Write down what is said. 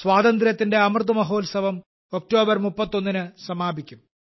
സ്വാതന്ത്ര്യത്തിന്റെ അമൃത് മഹോത്സവം ഒക്ടോബർ 31ന് സമാപിക്കും